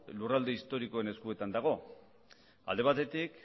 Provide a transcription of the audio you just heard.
lurralde historikoen eskuetan dago alde batetik